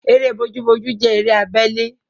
Eré bojúbojú jẹ́ eré abele